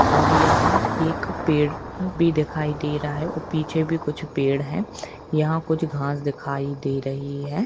और यहाँ एक पेड़ भी दिखाई दे रहा है और पीछे भी कुछ पेड़ है यहाँ कुछ घास दिखाई दे रही हैं।